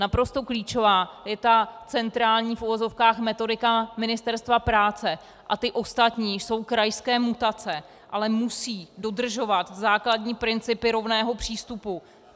Naprosto klíčová je ta centrální v uvozovkách metodika Ministerstva práce a ty ostatní jsou krajské mutace, ale musí dodržovat základní principy rovného přístupu.